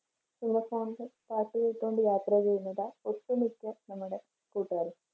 ear phone ല് പാട്ട് കേട്ടുകൊണ്ട് യാത്ര ചെയ്യുന്നതാ ഒട്ടുമിക്ക നമ്മുടെ കൂട്ടുകാരും